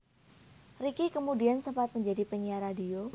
Ricky kemudian sempat menjadi penyiar radio